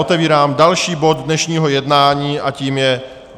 Otevírám další bod dnešního jednání a tím je